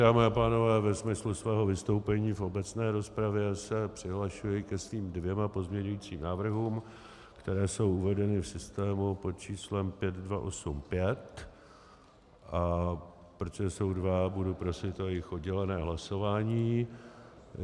Dámy a pánové, ve smyslu svého vystoupení v obecné rozpravě se přihlašuji ke svým dvěma pozměňovacím návrhům, které jsou uvedeny v systému pod číslem 5285, a protože jsou dva, budu prosit o jejich oddělené hlasování.